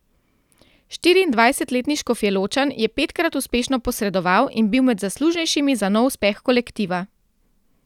Štiriindvajsetletni Škofjeločan je petkrat uspešno posredoval in bil med zaslužnejšimi za nov uspeh kolektiva.